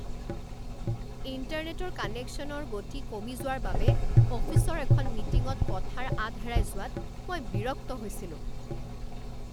ইণ্টাৰনেটৰ কানেকশ্যনৰ গতি কমি যোৱাৰ বাবে অফিচৰ এখন মিটিঙত কথাৰ আঁত হেৰাই যোৱাত মই বিৰক্ত হৈছিলোঁ।